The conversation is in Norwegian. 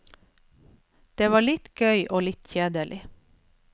Det var litt gøy og litt kjedelig.